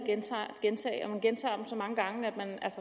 gentage fejl man gentager dem så mange gange